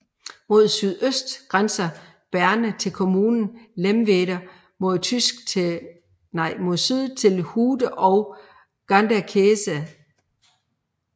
Mod sydøst grænser Berne til kommunen Lemwerder og mod syd til Hude og Ganderkesee